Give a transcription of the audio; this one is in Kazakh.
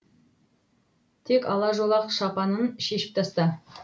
тек ала жолақ шапанын шешіп таста